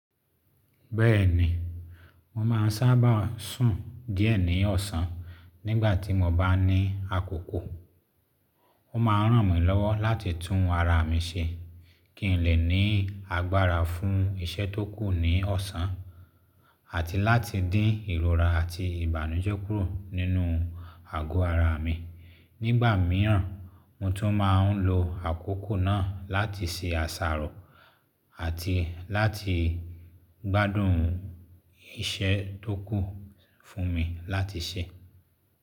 Bẹ́ẹ̀ ni mo máa ń sábà sùn díẹ̀ ní ọ̀sán nígbà tí mo bá ní àkókò. Ó máa ń ràn mí lọ́wọ́ láti tún ara mi ṣe kí n lè ní agbára fún iṣẹ́ tó kù ní ọ̀sán àti láti dín ìrora àti ìbànújẹ́ kúrò nínú àgọ́ ara mi. Nígbà mìíràn, mo tún máa ń lo àkókò náà láti ṣe àṣàrò àti láti gbádùn iṣẹ́ tó kù fún mi láti ṣe.